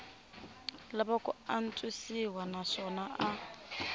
lava ku antswisiwa naswona a